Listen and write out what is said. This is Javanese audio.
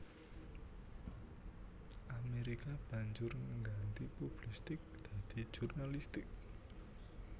Amerika banjur ngganti publistik dadi jurnalistik